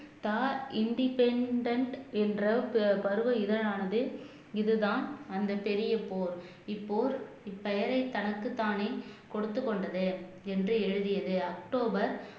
தா இன்டிபேன்டென்ட் என்ற பருவ இதழ் ஆனது இதுதான் அந்த பெரிய போர் இப்போர் இப்பெயரை தனக்குத்தானே கொடுத்துக் கொண்டது என்று எழுதியது அக்டோபர்